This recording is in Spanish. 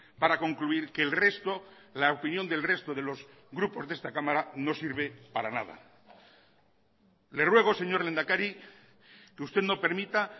para concluir que el resto la opinión del resto de los grupos de esta cámara no sirve para nada le ruego señor lehendakari que usted no permita